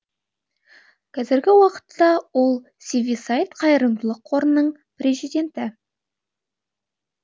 кәзіргі уақытта ол сивиссаид қайырымдылық қорының президенті